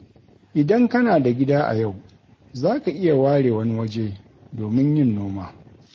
Idan kana da gida a yau, za ka iya ware wani waje domin yin noma.